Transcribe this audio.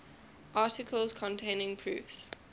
articles containing proofs